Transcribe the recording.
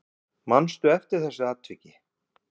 Manstu eftir þessu atviki?